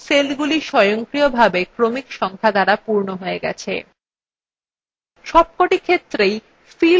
দেখুন সেলগুলি স্বয়ংক্রিয়ভাবে ক্রমিক সংখ্যা দ্বারা পূর্ণ we গেছে